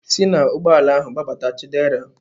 Si n'ụgbọala ahu gbadata Chidera!